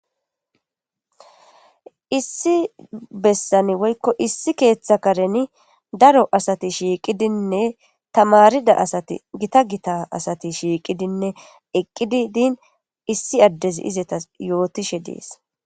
Issi bessan woyko issi keetha kareni daro asati shiqidinne tamarida asati gita gita asati shiqidinne eqidi din issí addezi azetas yootishe dees.